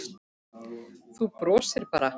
Þú brosir bara!